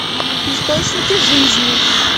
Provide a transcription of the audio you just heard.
источники жизни